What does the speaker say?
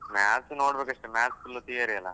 Maths ನೋಡ್ಬೇಕಷ್ಟೆ, Maths full theory ಅಲಾ?